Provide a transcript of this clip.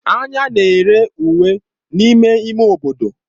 Anya na-ere uwe n'ime ime obodo.